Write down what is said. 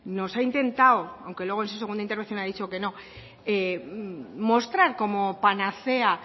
nos ha intentado aunque luego en su segunda intervención ha dicho que no mostrar como panacea